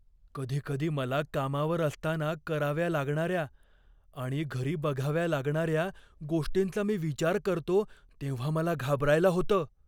कधी कधी मला कामावर असताना कराव्या लागणाऱ्या आणि घरी बघाव्या लागणाऱ्या गोष्टींचा मी विचार करतो तेव्हा मला घाबरायला होतं.